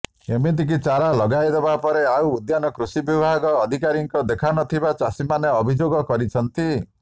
ଏମିତିକି ଚାରା ଲଗାଇଦେବା ପରେ ଆଉ ଉଦ୍ୟାନ କୃଷି ବିଭାଗ ଅଧିକାରୀଙ୍କ ଦେଖା ନଥିବା ଚାଷୀମାନେ ଅଭିଯୋଗ କରିଛନ୍ତି